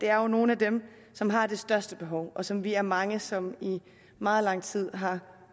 er jo nogle af dem som har det største behov og som vi er mange som i meget lang tid har